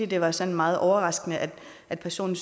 det var sådan meget overraskende at at personen